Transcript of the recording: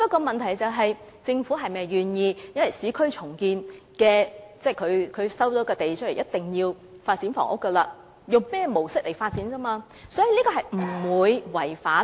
問題在於政府是否願意把市建局收回的土地發展房屋，以及用甚麼模式發展而已。